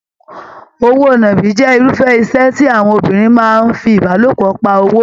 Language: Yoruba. Òwò náàbi jẹ irufẹ iṣẹ tí àwọn obìnrin máa n fí ìbálòpọ̀ pá owó.